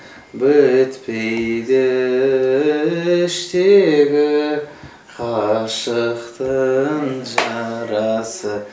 бітпейді іштегі ғашықтың жарасы